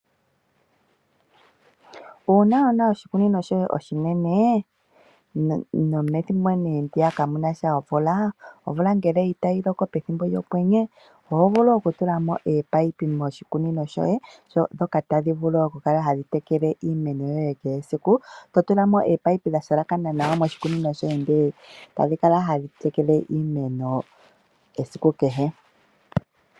Uuna wuna oshikunino shoye oshinene, nopethimbo ndyoka ka kunasha omvula, omvula uuna itayi loko pethimbo lyokwenye oho vulu oku tulamo ominino moshikunino shoye dhoka tadhi vulu oku kala tadhi teleke iimeno kehe esiku. To tulamo ominino dha shalakana nawa moshikunino shoye etadhi kala hadhi tekele iimeno esiku kehe.